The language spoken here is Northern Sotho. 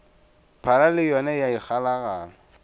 phala le yona ya ikgalagala